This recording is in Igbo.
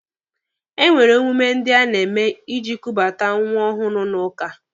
E nwere emume ndị a na-eme iji kubata nwa ọhụrụ n'ụka.